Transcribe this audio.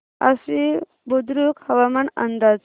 आश्वी बुद्रुक हवामान अंदाज